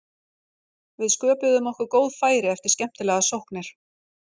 Við sköpuðum okkur góð færi eftir skemmtilegar sóknir.